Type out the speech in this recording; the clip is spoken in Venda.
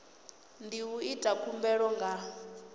ndi u ita khumbelo nga